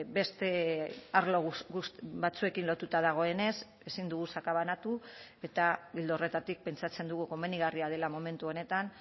beste arlo batzuekin lotuta dagoenez ezin dugu sakabanatu eta ildo horretatik pentsatzen dugu komenigarria dela momentu honetan